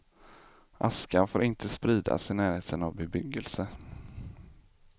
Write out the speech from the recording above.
Askan får inte spridas i närheten av bebyggelse.